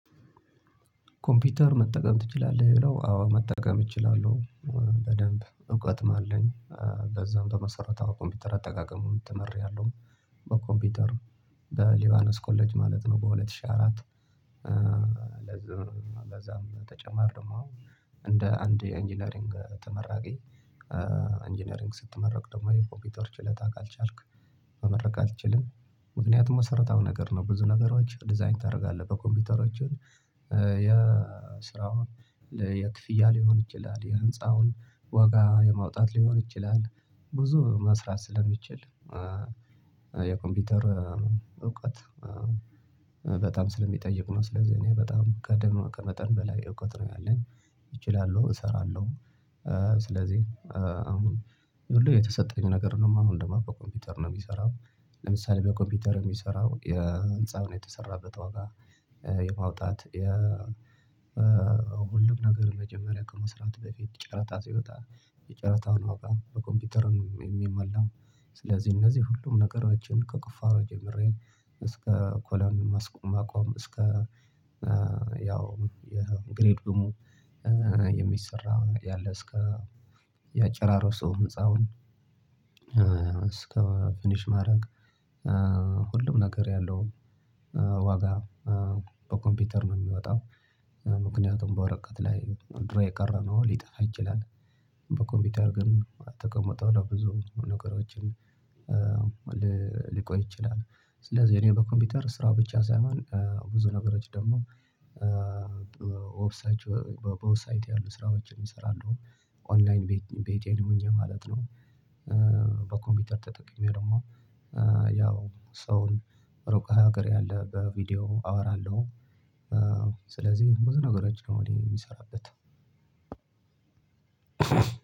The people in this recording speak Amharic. ኮምፒውተር መጠቀም ትችላለህ ይለው አዎ መጠቀም እችላለሁ በደንብ እውቀትም አለኝ። በዛም በመሰረተ ኮምፒውተር አጠቃቀሙን ተመሪያለሁ። በኮምፒውተር በሊዮአነስ ኮሌጅ ማለት ነው በሁለት ሺህ አራት። ለዛም ተጨማሪ ደግሞ እንደ አንድ የኢንጂነሪንግ ተመራቂ። ኢንጂነሪንግ ስትመረቅ ደግሞ የኮምፒውተር ችሎታ ካልቻልክ መመረቅ አትችልም ምክንያቱም መሰረታዊ ነገር ነው ብዙ ነገሮች ዲዛይን ታደርጋለህ በኮምፒውተሮችህ። የስራውን የክፍያ ሊሆን ይችላል የህንፃውን ዋጋ የማውጣት ሊሆን ይችላል ብዙ መስራት ስለሚችል። የኮምፒውተር እውቀት በጣም ስለሚጠይቅ ነው ስለዚህ እኔ በጣም ቀደም በመጠን በላይ እውቀት ነው ያለኝ እችላለሁ እሰራለሁ። ስለዚህ አሁን ይሄ ሁሉ የተሰጠኝ ነገር ነው። ማንም ደሞ ኮምፒውተር ነው የሚሰራው ለምሳሌ በኮምፒውተር ነው የሚሰራው የህንፃው ነው የተሰራበት ዋጋ። የማውጣት የ ሁሉም ነገር መጀመሪያ ከመስራት በፊት ጨረታ ሲወጣ የጨረታውን ዋጋ በኮምፒውተር ነው የሚመላው። ስለዚህ እነዚህ ሁሉም ነገሮችን ከቁፋሮ ጀምሬ እስከ ኮለን ማስቆም ማቆም እስከ ያው የግሬድ ደግሞ የሚሰራ ያለ እስከ የአጭራሮ ሰው ህፃውን። እስከ ፊኒሽ ማድረግ ሁሉም ነገር ያለው ዋጋ በኮምፒውተር ነው የሚወጣው። ምክንያቱም በወረቀት ላይ ድሮ የቀረ ነው ሊጠፋ ይችላል። በኮምፒውተር ግን ተቀምጦ ለብዙ ነገሮችን ሊቆይ ይችላል። ስለዚህ እኔ በኮምፒውተር ስራ ብቻ ሳይሆን ብዙ ነገሮች ደግሞ በውስጥ ሳይቀር ስራዎችን እሰራለሁ። ኦንላይን ቤቴን ሆኜ ማለት ነው። በኮምፒውተር ተጠቅሜ ደግሞ ሰውን ሩቅ ሀገር ያለ በቪዲዮ አወራለሁ። ስለዚህ ብዙ ነገሮች ነው እኔ ሚሰራበት